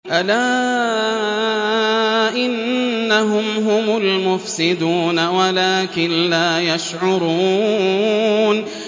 أَلَا إِنَّهُمْ هُمُ الْمُفْسِدُونَ وَلَٰكِن لَّا يَشْعُرُونَ